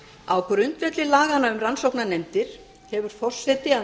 á grundvelli laganna um rannsóknarnefndir hefur forseti að